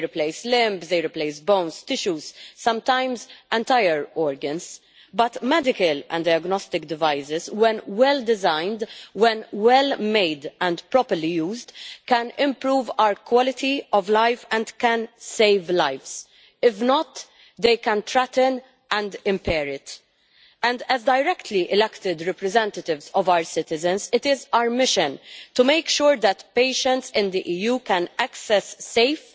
They replace limbs, bones, tissues and sometimes entire organs, but medical and diagnostic devices, when well designed, well made and properly used, can improve our quality of life and can save lives. If not, they can threaten and impair it. As the directly-elected representatives of our citizens, it is our mission to make sure that patients in the EU can access safe,